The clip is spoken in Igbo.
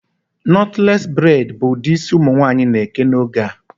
Knotless braid bụ ụdị isi ụmụ nwaanyị na-eke n'oge a